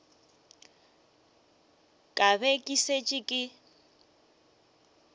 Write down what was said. ka be ke šetše ke